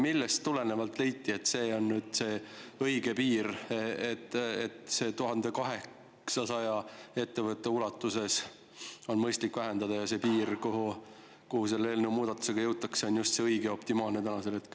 Millest tulenevalt leiti, et see on õige piir, 1800 ettevõtte ulatuses, ning et see piir, kuhu selle muudatusega jõutakse, on nüüd just õige ja optimaalne?